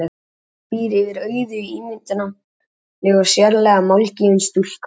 Anna býr yfir auðugu ímyndunarafli og er sérlega málgefin stúlka.